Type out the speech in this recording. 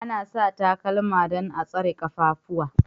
Ana sa takalma don a'tsare kaffafuwa.